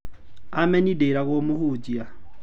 Ameni ndĩragwo mũhujia.